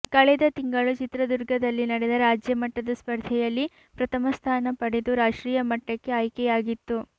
ಕಳೆದ ತಿಂಗಳು ಚಿತ್ರದುರ್ಗದಲ್ಲಿ ನಡೆದ ರಾಜ್ಯ ಮಟ್ಟದ ಸ್ಪರ್ಧೆಯಲ್ಲಿ ಪ್ರಥಮ ಸ್ಥಾನ ಪಡೆದು ರಾಷ್ಟ್ರೀಯ ಮಟ್ಟಕ್ಕೆ ಆಯ್ಕೆಯಾಗಿತ್ತು